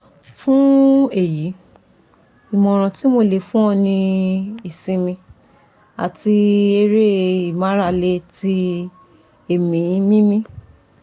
Fun eyi imoran ti mo le fun o ni isinmi ati ere imarale ti eemi mimi